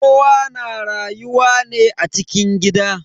Kowa na rayuwa ne a cikin gida.